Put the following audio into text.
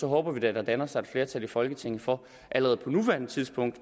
håber vi da at der danner sig et flertal i folketinget for allerede på nuværende tidspunkt